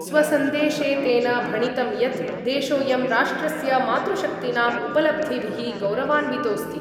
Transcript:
स्वसंदेशे तेन भणितम् यत् देशोयं राष्ट्रस्य मातृशक्तीनाम् उपलब्धिभिः गौरवान्वितोस्ति।